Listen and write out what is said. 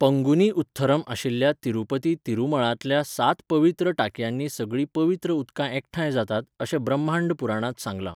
पंगुनी उथ्थरम आशिल्ल्या तिरुपती तिरुमळांतल्या सात पवित्र टांकयांनी सगळीं पवित्र उदकां एकठांय जातात अशें ब्रह्मांड पुराणांत सांगलां.